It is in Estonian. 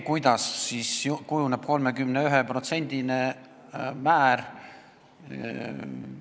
Kuidas kujuneb 31%-line määr?